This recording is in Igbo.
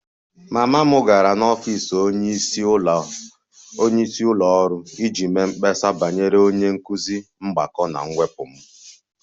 Mama m gara n'ọfịs onyeisi ụlọ ọrụ iji mee mkpesa banyere onye nkụzi mgbakọ na mwepụ m